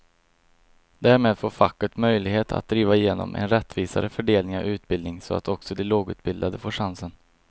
Därmed får facket möjlighet att driva igenom en rättvisare fördelning av utbildningen så att också de lågutbildade får chansen.